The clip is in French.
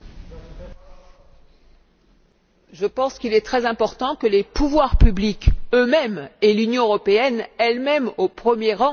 Je pense qu'il est très important que les pouvoirs publics eux mêmes et l'Union européenne elle même au premier rang s'investissent dans la recherche.